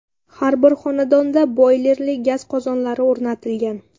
Har bir xonadonda boylerli gaz qozonlari o‘rnatilgan.